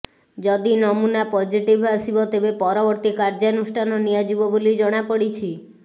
ଯଦି ନମୁନା ପଜିଟିଭ ଆସିବ ତେବେ ପରବର୍ତ୍ତୀ କାର୍ଯ୍ୟାନୁଷ୍ଠାନ ନିଆଯିବ ବୋଲି ଜଣାପଡ଼ିଛି